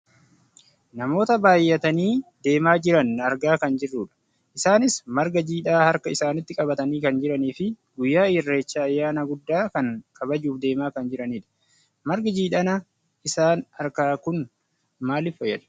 Namoota baayyatanii deemaa jiran argaa kan jirrudha. Isaanis marga jiidhaa harka isanaiitti qabatanii kan jiraniifi guyyaa irreechaa ayyana guddaa kana kabajuuf deemaa kan jiranidha. Margi jiidhana isaan harkaa kun maaliif fayyada?